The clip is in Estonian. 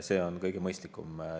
See on kõige mõistlikum.